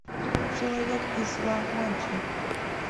человек из ла манчи